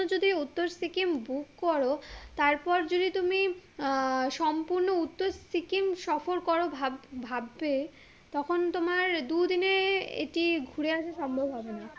যদি উত্তর সিকিম book করো তারপর যদি তুমি আহ সম্পূর্ণ উত্তর সিকিম সফর করো ভাব ভাববে তখন তোমার দু দিনে এটি ঘুরে আসা সম্ভম হবে না